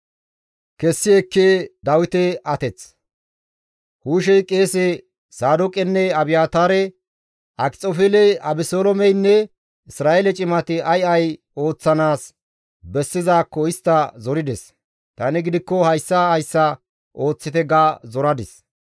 Hushey qeese Saadooqenne Abiyaataare, «Akxofeeley Abeseloomeynne Isra7eele cimati ay ay ooththanaas bessizaakko istta zorides; tani gidikko hayssa hayssa ooththite ga zoradis.